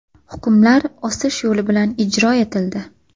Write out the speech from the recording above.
Hukmlar osish yo‘li bilan ijro etildi.